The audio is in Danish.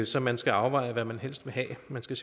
så man skal afveje hvad man helst vil have man skal